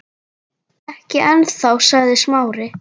Ekki ennþá- sagði Smári.